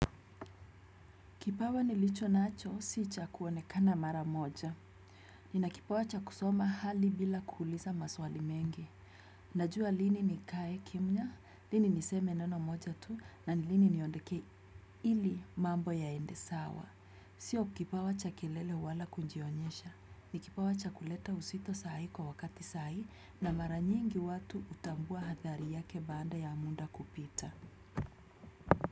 Kipawa nilicho nacho, si cha kuonekana mara moja. Nina kipawa cha kusoma hali bila kuuuliza maswali mengi. Najua lini nikae kimya, lini niseme neno moja tu, na nilini niondeke ili mambo ya endesawa. Sio kipawa cha kelele wala kujionyesha ni kipawa cha kuleta uzito sai kwa wakati sai na mara nyingi watu hutambua athari yake baada ya muda kupita.